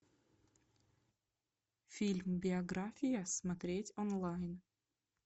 фильм биография смотреть онлайн